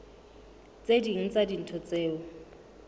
tse ding tsa dintho tseo